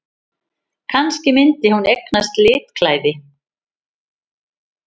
Kannski myndi hún eignast litklæði!